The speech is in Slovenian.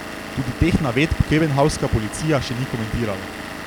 Tudi teh navedb koebenhavnska policija še ni komentirala.